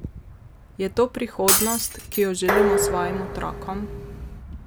Je to prihodnost, ki jo želimo svojim otrokom?